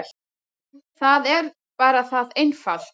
Það er bara það einfalt.